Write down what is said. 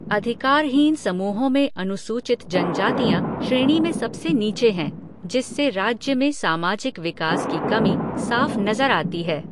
अधिकारहीन समूहों में अनुसूचित जनजातियाँ श्रेणी में सबसे नीचे हैं, जिससे राज्य में सामाजिक विकास की कमी साफ नज़र आती है।